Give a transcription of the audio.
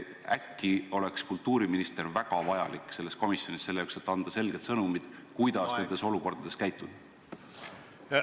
Äkki oleks kultuuriministri kuulumine sellesse komisjoni siiski väga vajalik, et anda selge sõnum, kuidas nendes olukordades käituda?